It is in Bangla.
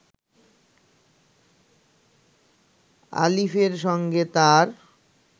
আলিফের সঙ্গে তার